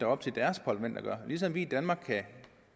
op til deres parlamenter at ligesom vi